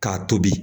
K'a tobi